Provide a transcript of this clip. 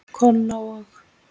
Kolla og